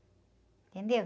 Entendeu?